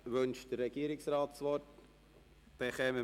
Wünscht der Regierungsrat das Wort?